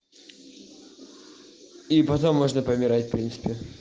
и потом можно помирать принципе